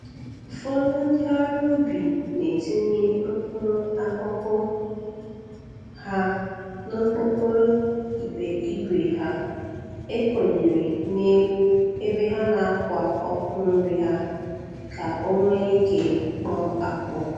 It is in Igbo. Ufọdụ ndị ọrụ ubi na-etinye.mkpụrụ akụkụ ha n'okpokoro igbe igwe ha ekonyere n'elu ebe ha na-akwa ọkụ nri ha ka o nwee ike kpọọ akpọọ.